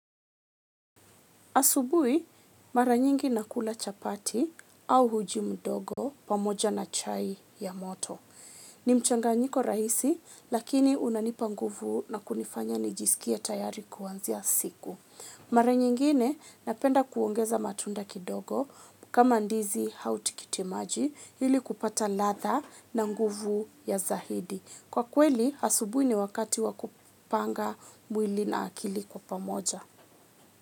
Asubuhi mara nyingi nakula chapati au uji mdogo pamoja na chai ya moto. Ni mchanganyiko rahisi, lakini unanipa nguvu na kunifanya nijisikie tayari kuanzia siku. Mara nyingine napenda kuongeza matunda kidogo kama ndizi au tikitimaji ili kupata latha na nguvu ya zaidi. Kwa kweli, asubuhi ni wakati wa kupanga mwili na akili kwa pamoja.